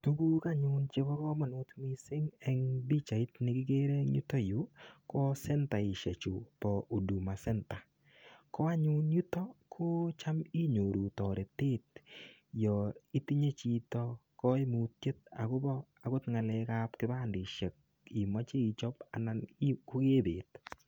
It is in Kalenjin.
Tuguk anyun chebo kamanut mising eng pichait negere en yuto yu ko sentaisiechu bo huduma centre. Ko anyun yutok yu kocham inyoru toretet yon itinye chito kaimutyet agobo agot kipandisiek imoche ichop anan ikwee bet.